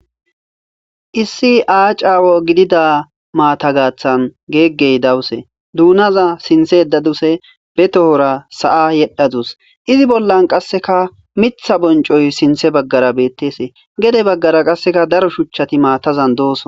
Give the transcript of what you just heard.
Issi aacca gidida maata gaththan gegey dawuse duunna sinththe yedaduse be tohora sa'a yedhdhadus izi bollan qasekka miththa bonccoy sinththe baggara beettes gedde baggara qasekka daro shuuchchati maatazan de'ossonna.